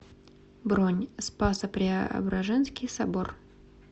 бронь спасо преображенский собор